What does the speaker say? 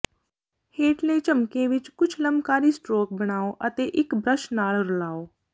ਹੇਠਲੇ ਝਮੱਕੇ ਵਿੱਚ ਕੁਝ ਲੰਬਕਾਰੀ ਸਟਰੋਕ ਬਣਾਉ ਅਤੇ ਇੱਕ ਬਰੱਸ਼ ਨਾਲ ਰਲਾਉ